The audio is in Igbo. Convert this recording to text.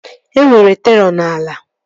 E nwere terọ n'ala